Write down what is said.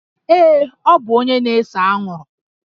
Ee, ọ bụ onye na-ese anwụrụ